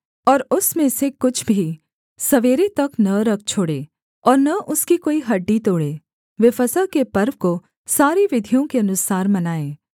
और उसमें से कुछ भी सवेरे तक न रख छोड़े और न उसकी कोई हड्डी तोड़े वे फसह के पर्व को सारी विधियों के अनुसार मनाएँ